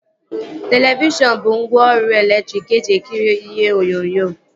Televishọn bụ ngwaọrụ elektriki eji ekiri ihe onyonyo